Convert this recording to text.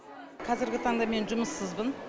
қазіргі таңда мен жұмыссызбын